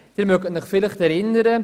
Sie können sich vielleicht erinnern: